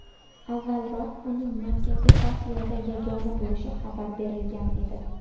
Avvalroq uning Markaziy Osiyoda yagona bo‘lishi xabar berilgan edi .